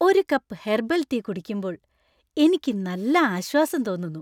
ഒരു cup herbal tea കുടിക്കുമ്പോൾ എനിക്ക് നല്ല ആശ്വാസം തോന്നുന്നു.